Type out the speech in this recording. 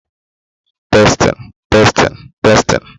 Anyị ga abọchapu ubi echi ka ụmụ ahịhịa hara ikpagbụ otuboala